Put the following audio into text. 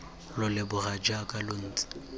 lo leboga jaaka lo ntse